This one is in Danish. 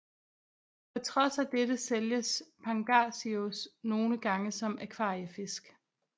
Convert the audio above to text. På trods af dette sælges Pangasius nogle gange som akvariefisk